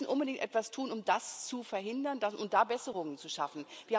Wir müssen unbedingt etwas tun, um das zu verhindern und da Besserungen zu schaffen.